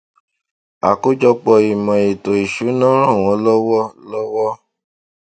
àkójọpọ ìmò ètò ìsúná ràn wón lọwọ lọwọ